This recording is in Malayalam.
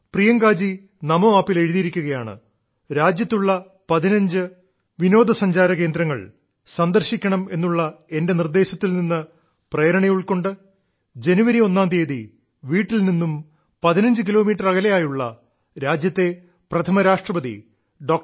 പ്രിയങ്കാജി നമോ ആപ്പിൽ എഴുതിയിരിക്കുകയാണ് രാജ്യത്തുള്ള 15 തദ്ദേശീയ വിനോദസഞ്ചാര കേന്ദ്രങ്ങൾ സന്ദർശിക്കണമെന്നുള്ള എന്റെ നിർദ്ദേശത്തിൽ നിന്ന് പ്രേരണയുൾക്കൊണ്ട് ജനുവരി ഒന്നിന് വീട്ടിൽ നിന്നും 15 കിലോമീറ്റർ അകലെയുള്ള രാജ്യത്തെ പ്രഥമ രാഷ്ട്രപതി ഡോ